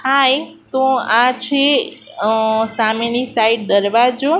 હાય તો આ છે સામેની સાઈડ દરવાજો.